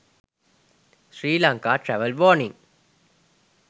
sri lanka travel warning